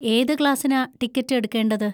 ഏത് ക്ലാസ്സിനാ ടിക്കറ്റ് എടുക്കേണ്ടത്?